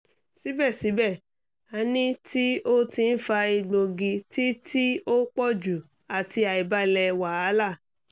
sibẹsibẹ ani ti o ti n fa egbogi ti ti o pọju ati aibalẹ wahala